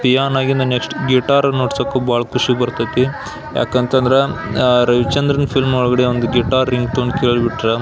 peon ಆಗಿನ next guitar ಅನ್ನ ನುಡಿಸಾಕು ಬಹಳ ಖುಷಿ ಬರತೈತಿ ಯಾಕ್ ಅಂತಂದ್ರ ರವಿಚಂದ್ರನ್ ಫಿಲಂ ಒಳಗಡೆ ಒಂದು ಗಿಟಾರ್ ರಿಂಗ್ ಟೊನ್ ಕೇಳಿ ಬಿಟ್ರ --